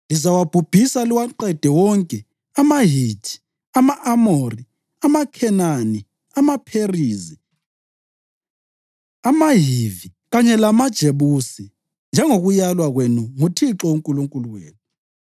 Lizawabhubhisa liwaqede wonke amaHithi, ama-Amori, amaKhenani, amaPherizi, amaHivi kanye lamaJebusi njengokulaywa kwenu nguThixo uNkulunkulu wenu.